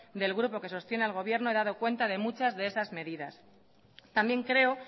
del grupo que sostiene al gobierno he dado cuenta de muchas de esas medidas también creo